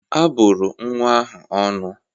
A bụrụ nwa ahụ ọnụ